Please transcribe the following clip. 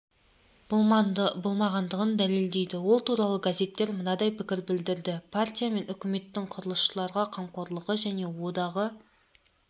болмағандығын дәлелдейді ол туралы газеттер мынадай пікір білдірді партия мен үкіметтің құрылысшыларға қамқорлығы және одағы